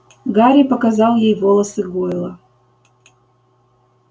гарри показал ей волосы гойла